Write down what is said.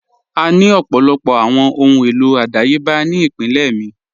À ní ọ̀pọ̀lọpọ̀ awọn ọhun elo adáyèbà ni ìpínlẹ̀ mi.